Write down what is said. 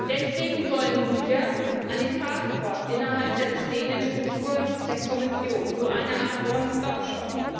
Deswegen wollen wir eine Task Force innerhalb der bestehenden Struktur der Kommission, so eine Art One Stop Shop.